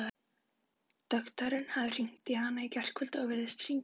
Doktorinn hafði hringt í hana í gærkvöldi, virðist hringja á